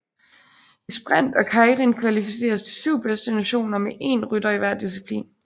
I sprint og keirin kvalificeres de 7 bedste nationer med én rytter i hver disciplin